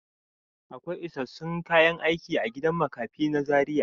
Akwai isassun kayan aiki a gidan makafi na Zaria.